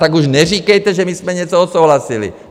Tak už neříkejte, že my jsme něco odsouhlasili.